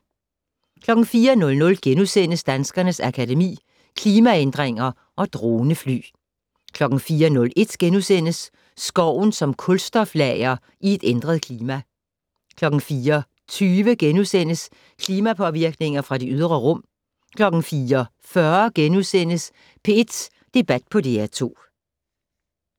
04:00: Danskernes Akademi: Klimaændringer & Dronefly * 04:01: Skoven som kulstoflager i et ændret klima * 04:20: Klimapåvirkninger fra det ydre rum * 04:40: P1 Debat på DR2 *